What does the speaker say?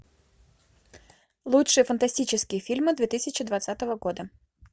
лучшие фантастические фильмы две тысячи двадцатого года